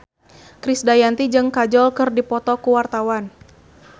Krisdayanti jeung Kajol keur dipoto ku wartawan